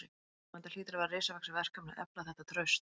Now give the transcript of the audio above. Telma: Þetta hlýtur að vera risavaxið verkefni að efla þetta traust?